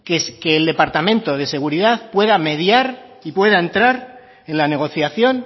que el departamento de seguridad pueda mediar y pueda entrar en la negociación